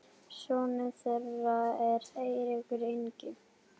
sonur þeirra er Eiríkur Ingi.